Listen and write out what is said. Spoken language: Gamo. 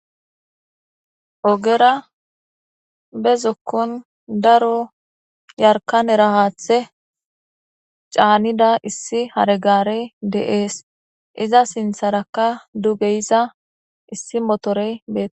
Ogera be zokon yarka era hathe canida issi hares garey de'es iza sintharakka duge yiza issi mitorey betes